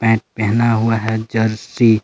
ने पहना हुआ है जर्सी